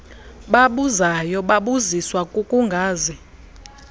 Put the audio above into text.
babuzayo babuziswa kukungazi